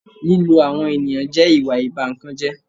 Lílo àwọn ènìyàn jẹ́ ìwà ìba ìkan jẹ́